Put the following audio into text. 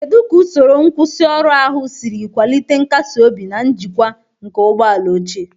Kedu ka usoro nkwusioru ahụ siri kwalite nkasi obi na njikwa nke ụgbọ ala ochie?